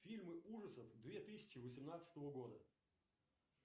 фильмы ужасов две тысячи восемнадцатого года